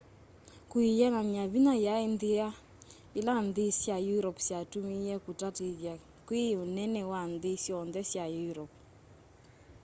kwĩanany'a vinya yaĩ nthĩa ĩla nthĩ sya europe syatũmĩie kũtatĩthya kwiia ũnene wa nthĩ syonthe sya europe